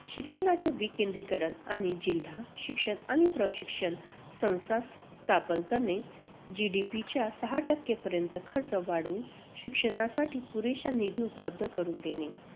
शिक्षणाचे विकेंद्रीकरण आणि जिल्हा शिक्षण आणि प्रशिक्षण संस्था स्थापन करणे. GDP च्या सहा टक्केपर्यंत खर्च वाढवून शिक्षणासाठी पुरेसा निधी उपलब्ध करून देणे.